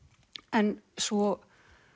en svo